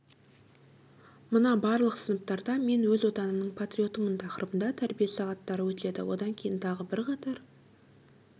міна барлық сыныптарда мен өз отанымның патриотымын тақырыбында тәрбие сағаттары өтеді одан кейін тағы бірқатар